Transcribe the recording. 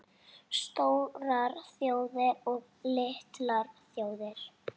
STÓRAR ÞJÓÐIR OG LITLAR ÞJÓÐIR